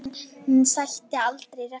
En hann sætti aldrei refsingu